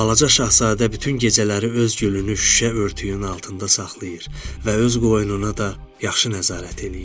Balaca şahzadə bütün gecələri öz gülünü şüşə örtüyünün altında saxlayır və öz qoynuna da yaxşı nəzarət eləyir.